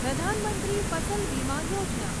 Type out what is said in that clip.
પ્રધાન મંત્રી ફસલ બીમા યોજના